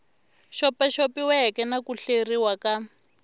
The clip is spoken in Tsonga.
xopaxopiweke na ku hleriwa xa